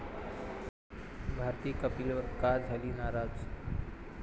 भारती कपिलवर का झाली नाराज?